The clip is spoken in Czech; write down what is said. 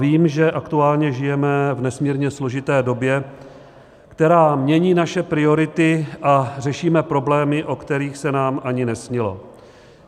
Vím, že aktuálně žijeme v nesmírně složité době, která mění naše priority, a řešíme problémy, o kterých se nám ani nesnilo.